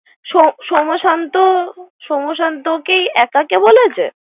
So সোম শান্ত সোম শান্ত কি একাকে বলেছে।